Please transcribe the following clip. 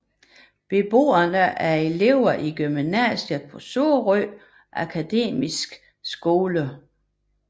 Beboerne er elever i gymnasiet på Sorø Akademis Skole